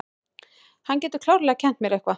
Hann getur klárlega kennt mér eitthvað.